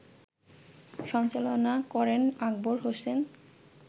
সঞ্চালনা করেন আকবর হোসেন